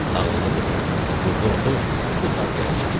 Ağıllı qızım, burda otur, bu saat gələcəm.